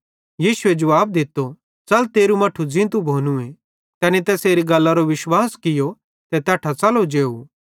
यीशु ए जुवाब दित्तो च़ल तेरू मट्ठू ज़ींतू भोनूए तैनी तैसेरी गल्लरो विश्वास कियो ते तैट्ठां च़लो जेव